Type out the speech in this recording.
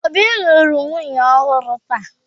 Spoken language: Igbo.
Obi lụrụ nwunye ọhụrụ taa